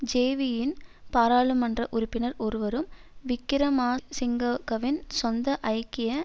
ஜேவியின் பாராளுமன்ற உறுப்பினர் ஒருவரும் விக்கிரமா சிங்க கவின் சொந்த ஐக்கிய